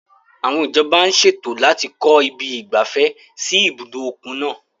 Àwọn ìjọba ń ṣètò láti kọ ibi ìgbafẹ́ sí ibùdó òkun náà.